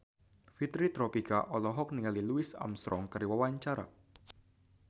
Fitri Tropika olohok ningali Louis Armstrong keur diwawancara